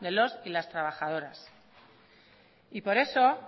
de los y las trabajadoras y por eso